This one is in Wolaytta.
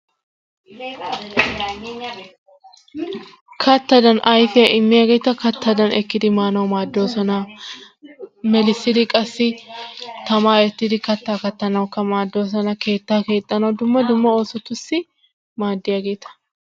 Kattadan ayfiyaa immiyaageta kattadan ekkidi maanawu maaddoosona. Melissidi qassi tamaa eettidi kattaa kattanawukka maaddoosona. Keettaa keexxanawu dumme dumma oosotusi maadiyaageta.